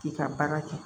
K'i ka baara kɛ